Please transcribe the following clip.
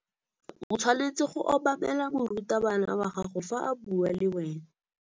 O tshwanetse go obamela morutabana wa gago fa a bua le wena.